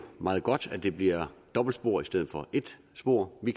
meget godt at det bliver dobbeltspor i stedet for et spor vi